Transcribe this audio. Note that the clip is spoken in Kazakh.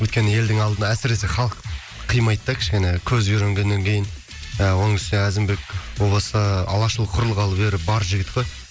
өйткені елдің алдына әсіресе халық қимайды да кішкене көз үйренгеннен кейін ы оның үстіне әзімбек о баста алашұлы құрылғалы бері бар жігіт қой